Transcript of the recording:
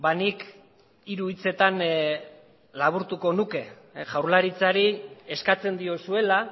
nik hiru hitzetan laburtuko nuke jaurlaritzari eskatzen diozuela